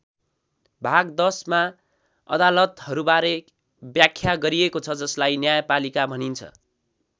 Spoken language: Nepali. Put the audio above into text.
भाग १० मा अदालतहरूबारे व्याख्या गरिएको छ जसलाई न्यायपालिका भनिन्छ।